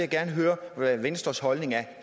gerne høre hvad venstres holdning er